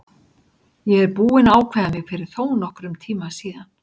Ég er búinn að ákveða mig fyrir þónokkrum tíma síðan.